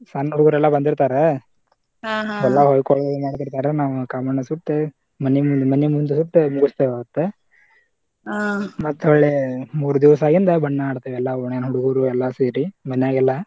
ಸಣ್ಣ ಹುಡಗೋರೆಲ್ಲಾ ಬಂದಿರ್ತಾರ ಎಲ್ಲಾ ಹೊಯ್ಕೊಳೋದದು ಮಾಡ್ತಿರ್ತಾರ ನಾವ್ ಕಾಮಣ್ಣಾ ಸುಟ್ಟು ಮನಿ ಮನಿ ಮುಂದ ಸುಟ್ಟ ಮುಗಸ್ತೇವ ಅವತ್ತ ಮತ್ತ ಹೊಳ್ಳೆ ಮೂರ ದಿವಸ ಆಗಿಂದ ಬಣ್ಣಾ ಆಡ್ತೇವ ಎಲ್ಲಾ ಓಣ್ಯಾನ ಹುಡುಗುರು ಎಲ್ಲಾ ಸೇರಿ ಮನ್ಯಾಗೆಲ್ಲ .